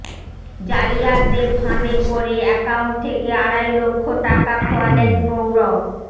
জালিয়াতদের ফাঁদে পরে অ্যাকাউন্ট থেকে আড়াই লক্ষ টাকা খোয়ালেন প্রৌঢ়